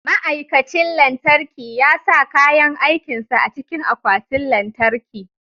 Ma'aikacin lantarki ya sa kayan aikin sa a cikin akwatin lantarki.